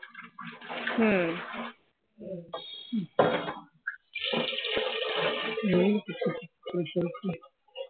সেই চলছে